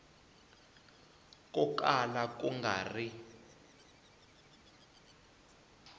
ko kala ku nga ri